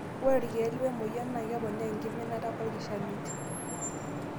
Ore ilkeek wemoyian naa keponaa enkiminata olkishamiet.